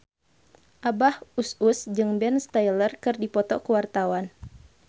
Abah Us Us jeung Ben Stiller keur dipoto ku wartawan